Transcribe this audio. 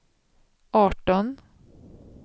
arton